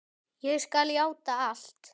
Ég skal játa allt.